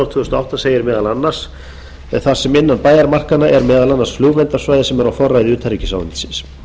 tvö þúsund og átta segir meðal annars þar sem innan bæjarmarkanna er meðal annars flugvallarsvæði sem er á forræði utanríkisráðuneytisins